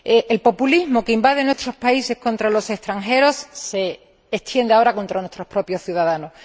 El populismo que invade nuestros países contra los extranjeros se extiende ahora contra nuestros propios ciudadanos.